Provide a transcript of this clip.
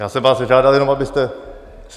Já jsem vás zažádal jenom, abyste...